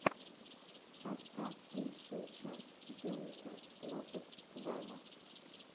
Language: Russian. поставь лучшую часть дженнифер лопес вево